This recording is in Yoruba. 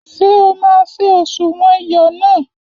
Ṣé o ma ṣé òṣùwọ̀n iyọ náà?